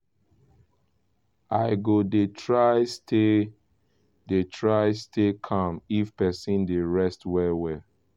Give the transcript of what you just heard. i go dey try stay dey try stay calm if person dey rest well well.